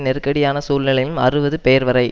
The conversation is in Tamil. நெருக்கடியான சூழ்நிலையிலும் அறுபது பேர்வரை